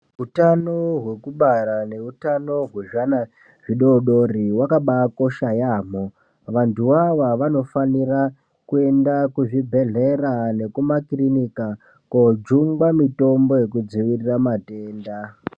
Utano hwekubara neutano hwezvana zvidodori vakabakosha yaamho. Vantu vava vanofanira kuenda kuzvibhedhlera nekumakirinika kojingwa mutombo yekudzivirira matenda.